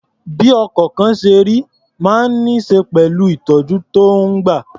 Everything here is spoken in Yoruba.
Bí ọkọ̀kan ṣe rí máa ń ní ṣe pẹ̀lú ìtọ̀jú tó ń gbà.